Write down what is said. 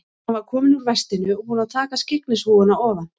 Hann var kominn úr vestinu og búinn að taka skyggnishúfuna ofan.